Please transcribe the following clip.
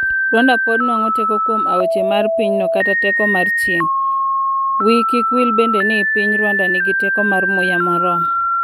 Rwanda pod nwang'o teko kuom aoche mar pinyno kata teko mar chieng', wii kik wil bende ni piny Rwanda nigi teko mar muya moromo.